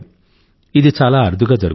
ఇది చాలా అరుదుగా జరుగుతుంది